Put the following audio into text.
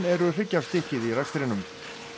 eru hryggjarstykkið í rekstrinum